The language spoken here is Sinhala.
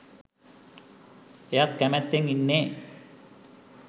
එයත් කැමැත්තෙන් ඉන්නේ